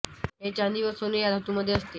हे चांदी व सोने या धातू मध्ये असते